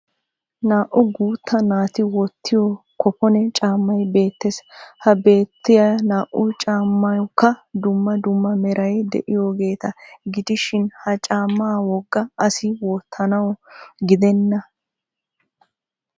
Naa"u guutta naati wottiyo kopone caammay beettes. Ha beettoyaa naa"u caammawukka dumma dumma meray de'iyoogeeta gidishin ha caammaa wogga asi wottanawu gidenna.